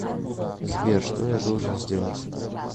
сбер что я должен сделать